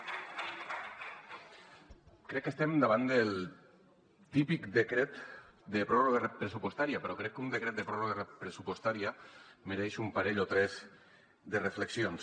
crec que estem davant del típic decret de pròrroga pressupostària però crec que un decret de pròrroga pressupostària mereix un parell o tres de reflexions